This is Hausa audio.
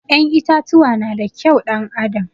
Ƴan itatuwa na da kyau ɗan adam